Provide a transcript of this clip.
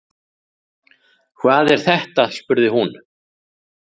Hvað er þetta spurði hún.